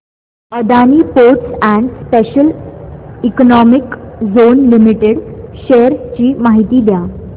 Adani ports and special economic zone limited shares ची माहिती द्या